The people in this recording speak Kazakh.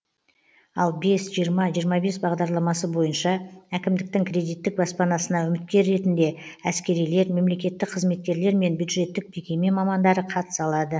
ал бес жиырма жиырма бес бағдарламасы бойынша әкімдіктің кредиттік баспанасына үміткер ретінде әскерилер мемлекеттік қызметкерлер мен бюджеттік мекеме мамандары қатыса алады